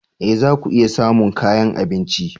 E! za ku iya samun kayan abinci.